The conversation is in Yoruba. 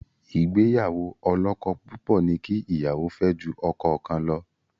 Ìgbéyàwó ọlọ́kọ-púpọ̀ ní kí ìyàwó fẹ́ ju ọkọ kan lọ.